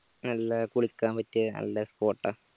നല്ലേ കുളിക്കാൻ പറ്റിയ നല്ല spot ആ